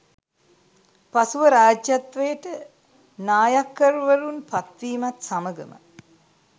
පසුව රාජ්‍යත්වයට නායක්කර්වරුන් පත්වීමත් සමඟම